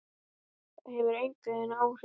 Það hefur engin áhrif.